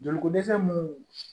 Joli ko dɛsɛ minnu